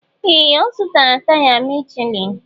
Ee! Ọ zụtara taya Michelin.